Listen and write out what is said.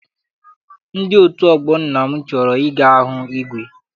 Ndị otu ọgbọ nna m chọrọ I ga hụ igwe.